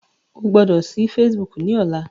O gbọ́dọ̀ sí Facebook ní ọlá.